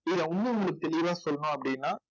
இதில இன்னும் உங்களுக்கு தெளிவா சொல்லணும் அப்படின்னா